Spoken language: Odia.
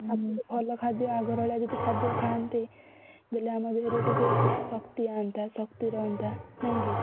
ଆଉଟିକେ ଭଲ ଖାଦ୍ୟ ଆଘର ଭଳିଆ ଯଦି ଖାଦ୍ୟ ଖାଆନ୍ତେ breath ବେଲେ ଆମ ଦେହରେ ଟିକେ ଶକ୍ତି ଆନ୍ତା ଶକ୍ତି ରହନ୍ତା ନାଇକି?